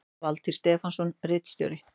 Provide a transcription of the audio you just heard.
Valtýr Stefánsson ritstjóri